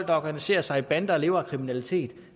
der organiserer sig i bander og lever af kriminalitet